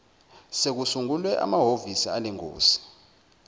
sekusungulwe amahovisi alengosi